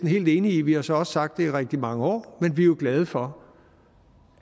helt enige i vi har så også sagt det i rigtig mange år men vi jo glade for